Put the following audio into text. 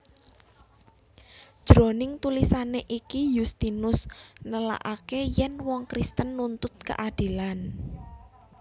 Jroning tulisané iki Yustinus nélakaké yèn wong Kristen nuntut kaadilan